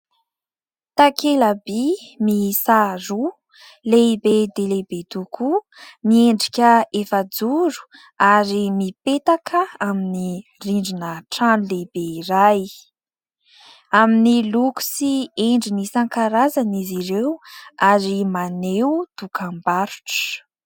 Takela-by miisa roa, lehibe dia lehibe tokoa, miendrika efa-joro ary mipetaka amin'ny rindrina trano lehibe iray. Amin'ny loko sy endriny isan-karazany izy ireo ary maneho dokam-barotra.